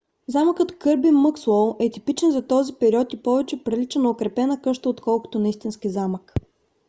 замъкът кърби мъкслоу е типичен за този период и повече прилича на укрепена къща отколкото на истински замък